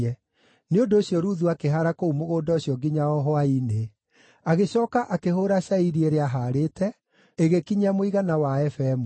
Nĩ ũndũ ũcio Ruthu akĩhaara kũu mũgũnda ũcio nginya o hwaĩ-inĩ. Agĩcooka akĩhũũra cairi ĩrĩa aahaarĩte, ĩgĩkinyia mũigana wa eba ĩmwe.